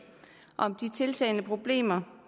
om de tiltagende problemer